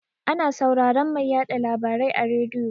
Ana sauraran mai yaɗa labarai a rediyo.